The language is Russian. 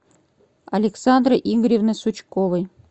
александры игоревны сучковой